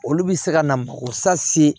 Olu bɛ se ka na o sase